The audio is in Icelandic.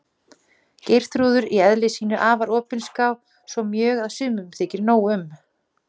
Geirþrúður í eðli sínu afar opinská, svo mjög að sumum þykir nóg um.